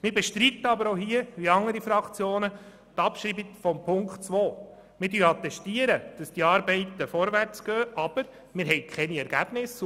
Wie andere Fraktionen bestreiten wir aber die Abschreibung von Ziffer 2. Wir attestieren, dass die Arbeiten vorwärtsgehen, verfügen aber über keine Ergebnisse.